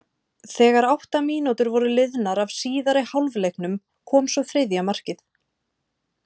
Þegar átta mínútur voru liðnar af síðari hálfleiknum kom svo þriðja markið.